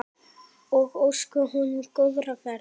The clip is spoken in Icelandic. Ég óska honum góðrar ferðar.